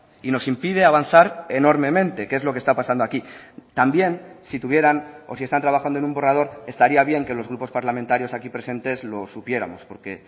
y nos impide avanzar enormemente que es lo que está pasando aquí también si tuvieran o si están trabajando en un borrador estaría bien que los grupos parlamentarios aquí presentes lo supiéramos porque